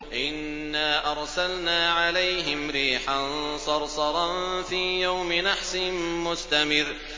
إِنَّا أَرْسَلْنَا عَلَيْهِمْ رِيحًا صَرْصَرًا فِي يَوْمِ نَحْسٍ مُّسْتَمِرٍّ